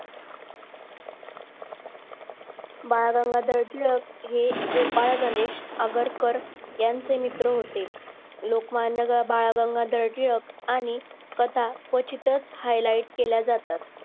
बाळ गंगाधर टिळक हे गोपाळ गणेश आगरकर यांचे मित्र होते लोकमान्य बाळ गंगाधर टिळक आणि कथा क्वचित हायलाईट केल्या जातात